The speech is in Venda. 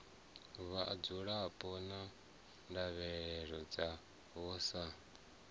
vhadzulapo na ndavhelelo dzavho sa